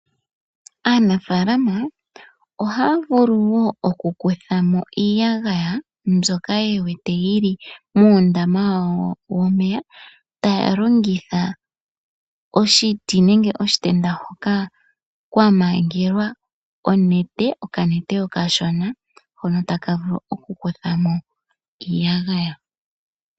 Aanafalama ohaya vulu wo okukuthamo iyagaya mbyoka yewete yili muundama wawo womeya taya longitha oshiti nenge oshitenda hoka kwamangelwa onete , okanete okashona hono tavulu okukuthamo iiyagaya .